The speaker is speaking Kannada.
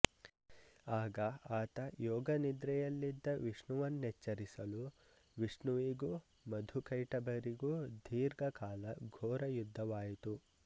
ಆಗ ಆತ ಯೋಗನಿದ್ರೆಯಲ್ಲಿದ್ದ ವಿಷ್ಣುವನ್ನೆಚ್ಚರಿಸಲು ವಿಷ್ಣುವಿಗೂ ಮಧುಕೈಟಭರಿಗೂ ದೀರ್ಘಕಾಲ ಘೋರ ಯುದ್ಧವಾಯಿತು